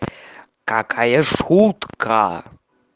какая шутка